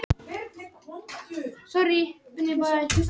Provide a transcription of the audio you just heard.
Segist hafa liðið vítiskvalir